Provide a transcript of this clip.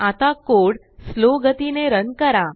आता कोडslowगतीने रन करा